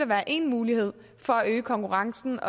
være en mulighed for at øge konkurrencen